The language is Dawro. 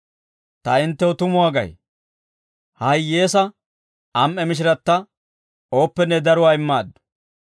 «Ta hinttew tumuwaa gay, ha hiyyeesaa am"e mishiratta, ooppenne daruwaa immaaddu.